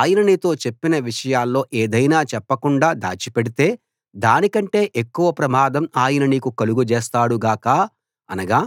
ఆయన నీతో చెప్పిన విషయాల్లో ఏదైనా చెప్పకుండా దాచిపెడితే దానికంటే ఎక్కువ ప్రమాదం ఆయన నీకు కలుగజేస్తాడు గాక అనగా